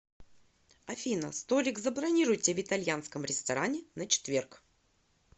афина столик забронируйте в итальянском ресторане на четверг